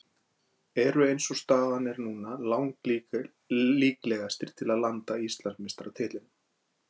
Eru eins og staðan er núna lang líklegastir til að landa Íslandsmeistaratitlinum.